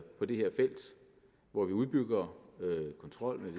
på det her felt hvor vi udbygger kontrol